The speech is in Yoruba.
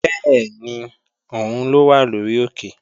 Bẹ́ẹ̀ni, òun ló wà lórí òkè